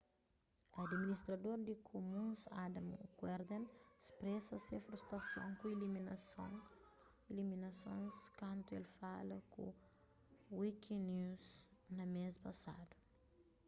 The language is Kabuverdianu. adiministrador di kumuns adam cuerden spresa se frustason ku iliminasons kantu el fala ku wikinews na mês pasadu